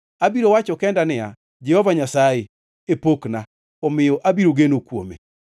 Abiro wacho kenda niya, “Jehova Nyasaye e pokna, omiyo abiro geno kuome.”